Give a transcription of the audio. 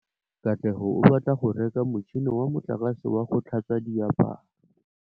Katlego o batla go reka motšhine wa motlakase wa go tlhatswa diaparo.